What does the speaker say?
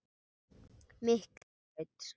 Miklubraut